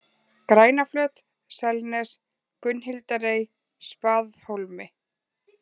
Grænaflöt, Selnes, Gunnhildarey, Spaðhólmi